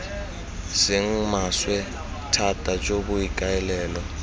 seng maswe thata jo boikaelelo